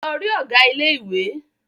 Lọ rí Ọ̀gá ilé ìwé!